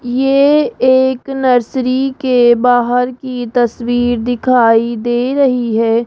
ये एक नर्सरी के बाहर की तस्वीर दिखाई दे रही है।